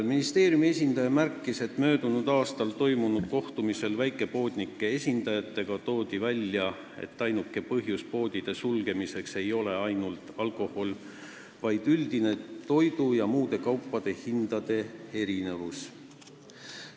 Ministeeriumi esindaja märkis, et möödunud aastal toimunud kohtumisel väikepoodnike esindajatega toodi välja, et poodide sulgemise põhjus ei ole ainult kallis alkohol, vaid üldine toidu- ja muude kaupade hindade erinevus.